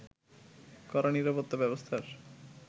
কড়া নিরাপত্তা ব্যবস্থার